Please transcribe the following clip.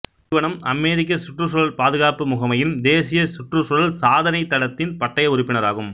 நிறுவனம் அமெரிக்க சுற்றுச் சூழல் பாதுகாப்பு முகமையின் தேசிய சுற்றுச்சூழல் சாதனைத் தடத்தின் பட்டய உறுப்பினராகும்